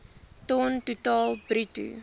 ton totaal bruto